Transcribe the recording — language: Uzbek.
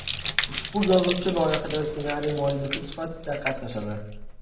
Ushbu yozuvchi loyihada ssenariy muallifi sifatida qatnashadi.